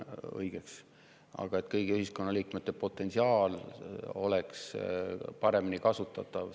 Aga me ju kõik siin seisame selle eest, et kõigi ühiskonnaliikmete potentsiaal saaks paremini kasutatud.